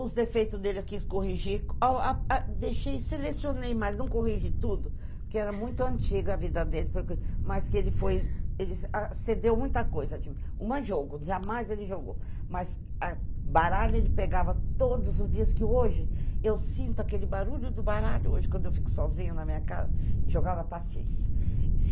Os defeitos dele eu quis corrigir, deixei, selecionei, mas não corrigi tudo, porque era muito antiga a vida dele, mas que ele foi, ele cedeu muita coisa, tipo, uma jogo, jamais ele jogou, mas a baralho ele pegava todos os dias, que hoje eu sinto aquele barulho do baralho, hoje, quando eu fico sozinha na minha casa, jogava paciência.